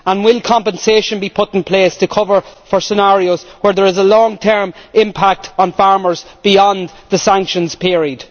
and will compensation be put in place for scenarios where there is a long term impact on farmers beyond the sanctions period?